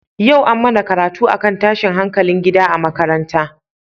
Yau an mana karatu akan tashin hankalin gida a makaranta.